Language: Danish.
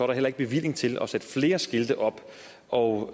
der heller ikke bevilling til at sætte flere skilte op og